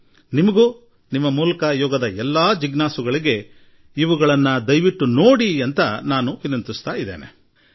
ನಾನು ನಿಮಗೂ ಹಾಗೂ ನಿಮ್ಮ ಮೂಲಕ ಎಲ್ಲಾ ಯೋಗ ಆಸಕ್ತರಿಗೂ ಇದರೊಡನೆ ಸಂಪರ್ಕ ಹೊಂದುವಂತೆ ಕೋರುತ್ತೇನೆ